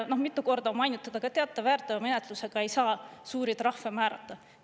Mitu korda on mainitud, et teate, väärteomenetlusega ei saa suuri trahve määrata.